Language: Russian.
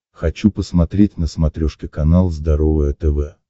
хочу посмотреть на смотрешке канал здоровое тв